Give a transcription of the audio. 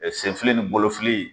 Senfili ni bolofili.